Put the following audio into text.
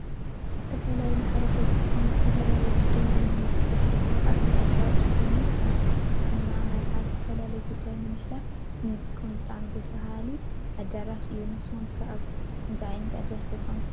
ዝተፈላለዮ ማሕበረሰብ ዝጥቀምሉ ዝተፈላለዮ ጉዳያት ዘሕልፍሉ ዓብይ አደራሽ ኮዮኑ ከም ፣ ክርሰትና መርዓን ንዝተፈላለዮ ጉዳያት ንምሕላፍ ንጥቀመሉ ብጣዕሚ ደስ ዝብል አዳራሽ እዮ ።ንስኩም ከ አብ ከምዚ አደራሽ ተጠቂሙኩም ትፈልጡ ዶ?